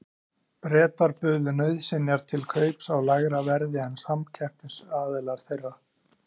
Bretar buðu nauðsynjar til kaups á lægra verði en samkeppnisaðilar þeirra.